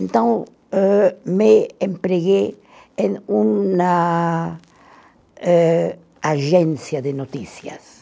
Então, âh, me empreguei em uma eh agência de notícias.